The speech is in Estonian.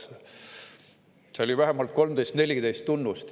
Seal oli ära toodud selle vähemalt 13–14 tunnust.